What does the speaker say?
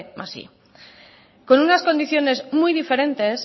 más primero con unas condiciones muy diferentes